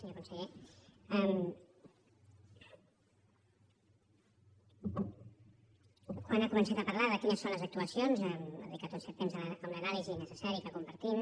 senyor conseller quan ha començat a parlar de quines són les actuacions ha dedicat un cert temps a una anàlisi necessària que compartim